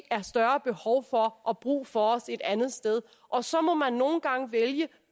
er større behov for og brug for os et andet sted og så må man nogle gange vælge